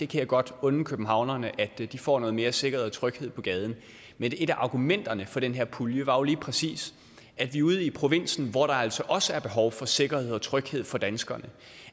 kan godt unde københavnerne at de får noget mere sikkerhed og tryghed på gaden men et af argumenterne for den her pulje var jo lige præcis at vi ude i provinsen hvor der altså også er behov for sikkerhed og tryghed for danskerne